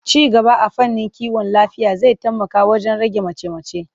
Ci gaba a fannin kiwon lafiya zai taimaka wajen rage mace-mace.